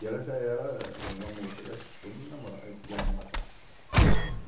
E ela já era uma moça, todo mundo namora eh queria namorar com ela.